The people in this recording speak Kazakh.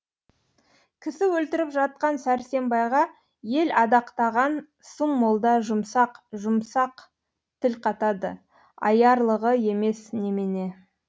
кісі өлтіріп жатқан сәрсембайға ел адақтаған сұм молда жұмсақ жұмсақ тіл қатады аярлығы емес немене